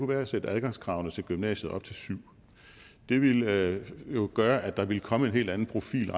være at sætte adgangskravet til gymnasiet op til syvende det ville jo gøre at der ville komme en helt anden profil